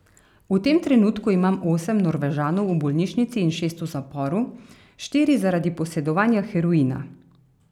V tem trenutku imam osem Norvežanov v bolnišnici in šest v zaporu, štiri zaradi posedovanja heroina.